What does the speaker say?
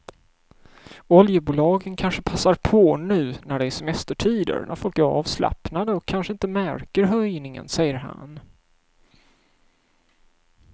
Oljebolagen kanske passar på nu när det är semestertider när folk är avslappnade och kanske inte märker höjningen, säger han.